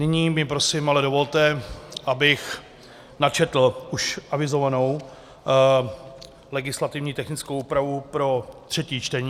Nyní mi prosím ale dovolte, abych načetl už avizovanou legislativně technickou úpravu pro třetí čtení.